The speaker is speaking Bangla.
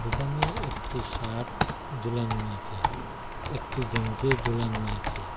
দোকানে একটি শার্ট জুলানো আছে একটি গেঞ্জিও জুলানো আছে।